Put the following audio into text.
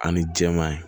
Ani jɛman ye